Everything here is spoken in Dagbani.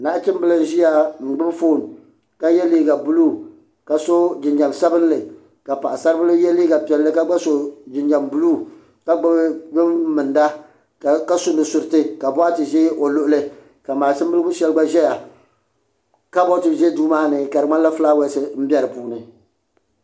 Nachimbila n ʒia n gbibi fooni ka ye liiga buluu ka so jinjiɛm sabinli ka paɣasarili ye liiga piɛlli ka so jinjiɛm buluu ka gbibi din minda ka su nusuriti ka boɣati ʒɛ o luɣuli ka maʒini bili sheli ʒɛya kaboori ʒɛ duu maani ka filaawaasi be dinni.